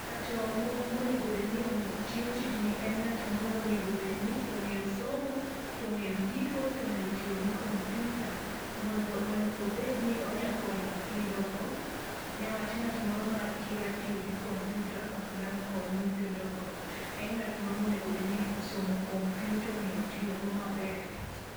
Ng'ato mo monego bed ni o tiyo tijni e ng'at moro monego bed ni ong'eyo somo, tong'eyo ndiko tong'eyo tiyo gi komputa mondo obed ni onya konyo nyithindo go, niwach ng'at moro ma kia tiyo gi komputa ok dang' kony nythindo go. En ng'at moro monego bed ni osomo komputa ong'eyo tiyo go maber.